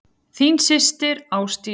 Þín systir, Ásdís.